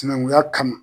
Sinankunya kama